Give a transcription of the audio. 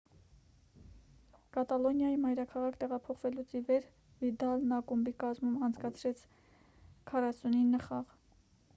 կատալոնիայի մայրաքաղաք տեղափոխվելուց ի վեր վիդալն ակումբի կազմում անցկացրել էր 49 խաղ